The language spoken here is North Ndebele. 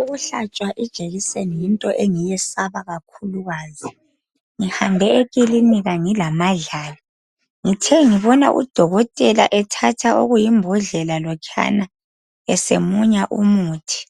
Ukuhlatshwa ijekiseni yinto engiyesaba kakhulukazi. Ngihambe ekilinika ngilamadlala, ngithe ngibona udokotela ethatha okuyimbodlela lokhuyana esemunya umuthi,